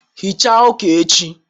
hichaa uka echi